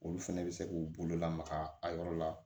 Olu fɛnɛ bɛ se k'u bolo lamaga a yɔrɔ la